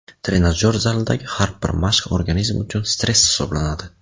Trenajyor zalidagi har bir mashq organizm uchun stress hisoblanadi.